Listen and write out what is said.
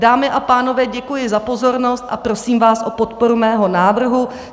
Dámy a pánové, děkuji za pozornost a prosím vás o podporu mého návrhu.